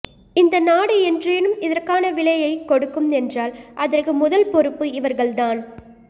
இந்த நாடு என்றேனும் இதற்கான விலையைக் கொடுக்கும் என்றால் அதற்கு முதல்பொறுப்பு இவர்கள்தான்